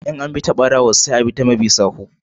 In abi ta barawo sai a bi ta mabi sawu.